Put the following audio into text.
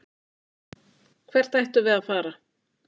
Hvert ættum við að fara?